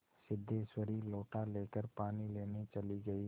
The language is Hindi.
सिद्धेश्वरी लोटा लेकर पानी लेने चली गई